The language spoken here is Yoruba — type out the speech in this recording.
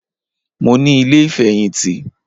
Mo ní ilé ìfẹ̀yìntì